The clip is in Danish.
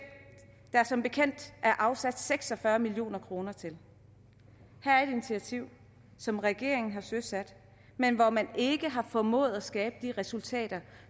der som bekendt er afsat seks og fyrre million kroner til her er et initiativ som regeringen har søsat men hvor man ikke har formået at skabe de resultater